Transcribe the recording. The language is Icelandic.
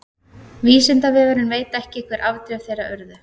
vísindavefurinn veit ekki hver afdrif þeirra urðu